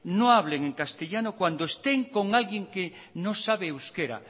no hablen en castellano cuando estén con alguien que no sabe euskera